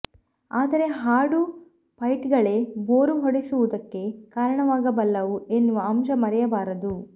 ಆದರೆ ಹಾಡು ಫೈಟ್ಗಳೇ ಬೋರು ಹೊಡೆಸುವುದಕ್ಕೆ ಕಾರಣವಾಗಬಲ್ಲವು ಎನ್ನುವ ಅಂಶ ಮರೆಯಬಾರದು